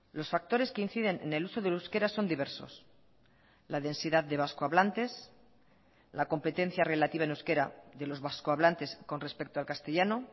los factores que inciden en el uso del euskera son diversos la densidad de vasco hablantes la competencia relativa en euskera de los vascohablantes con respecto al castellano